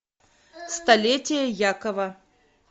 столетие якова